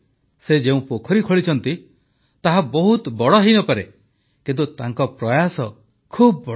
ସେ ଯେଉଁ ପୋଖରୀ ଖୋଳିଛନ୍ତି ତାହା ବହୁତ ବଡ଼ ହୋଇନପାରେ କିନ୍ତୁ ତାଙ୍କ ପ୍ରୟାସ ବହୁତ ବଡ଼